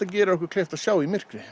gerir okkur kleift að sjá í myrkri